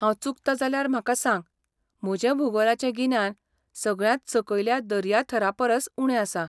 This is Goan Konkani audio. हांव चुकता जाल्यार म्हाका सांग, म्हजें भूगोलाचें गिन्यान सगळ्यांत सकयल्या दर्याथरापरस उणें आसा.